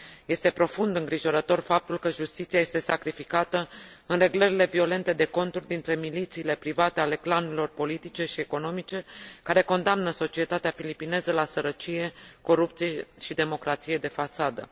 Este profund îngrijorător faptul că justiția este sacrificată în reglările violente de conturi dintre milițiile private ale clanurilor politice și economice, care condamnă societatea filipineză la sărăcie, corupție și democrație de fațadă.